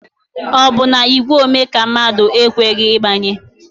Ọ bụ na igwe ome ka mmadụ a ekweghi ịgbanye?